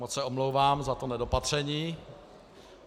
Moc se omlouvám za to nedopatření.